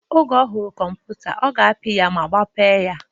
Oge ohụrụ kọmputa, ọ ga-apị ya ma gbaghe ya.